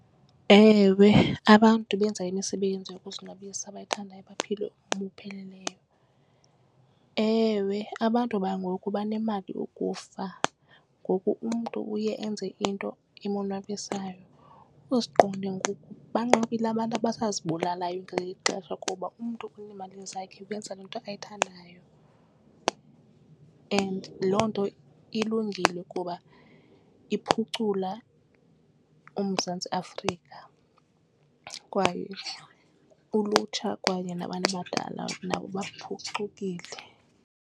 Ewe, abantu abenza imisebenzi yokuzonwabisa abayithandayo baphila ubomi obupheleleyo. Ewe, abantu bangoku banemali ukufa ngoku umntu uye enze into emonwabisayo. Uzuqonde ngoku banqabile abantu abazibulalayo ngeli xesha kuba umntu unemali zakhe wenza le nto ayithandayo. And loo nto ilungile kuba kuba iphucula uMzantsi Afrika kwaye ulutsha kwaye nabantu abadala nabo buphucukile.